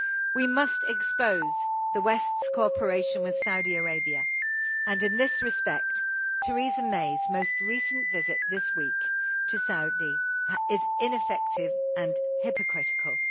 We must expose the West's cooperation with Saudi Arabia, and in this respect Theresa May's most recent visit this week to Saudi is ineffective and hypocritical.